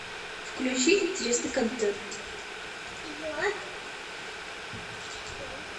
включи интересный контент